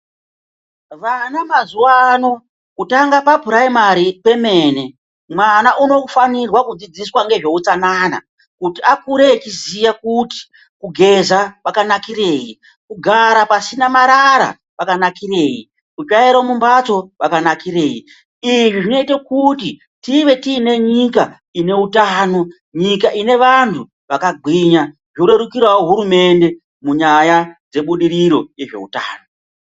Vana mazuvaano kutanga papuraimari pemene mwana unofanirwa kudzidziswa ngezveutsanana kuti akure echiziya kuti kugeza kwakanakirei ,kugara pasina marara kwakanakirei ,kutsvaira mumbatso kwakanakirei izvi zvinoite kuti tive tiine nyika ine utano nyika ine vantu vakagwinya zvorerukirawo hurumende munyaya dzebudiriro yezveutano.